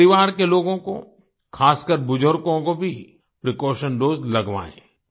अपने परिवार के लोगों को ख़ासकर बुजुर्गों को भी प्रीकॉशन दोसे लगवाएँ